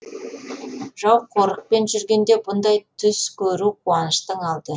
жау жорықпен жүргенде бұндай түс көру қуаныштың алды